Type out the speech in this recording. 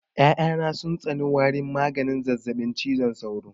Ƴaƴa na sun tsani warin maganin zazzaɓin cizon sauro